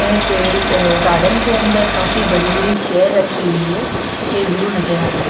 ने पेड़ गार्डन के अंदर काफी बड़ी-बड़ी चेयर रखी हुई है ये व्यू नजर आ रहा है।